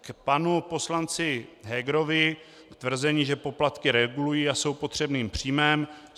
K panu poslanci Hegerovi, k tvrzení, že poplatky regulují a jsou potřebným příjmem.